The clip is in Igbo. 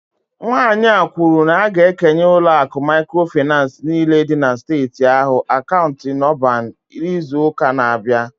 Nwanyị a kwuru na a ga-ekenye ụlọ akụ microfinance niile dị na steeti ahụ akaụntụ NUBAN n'izu ụka na-abịa